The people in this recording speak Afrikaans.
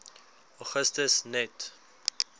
augustus net